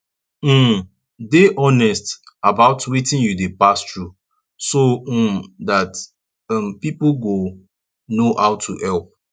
um dey honest about wetin you dey pass through so um dat um pipo go know how to help